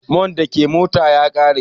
Man da ke mota ta ya ƙare.